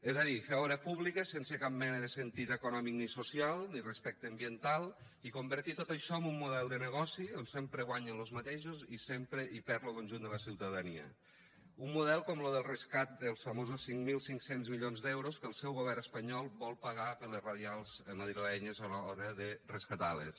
és a dir fer obra pública sense cap mena de sentit econòmic ni social ni respecte ambiental i convertir tot això en un model de negoci on sempre guanyen los mateixos i sempre hi perd lo conjunt de la ciutadania un model com lo del rescat dels famosos cinc mil cinc cents milions d’euros que el seu govern espanyol vol pagar per les radials madrilenyes a l’hora de rescatar les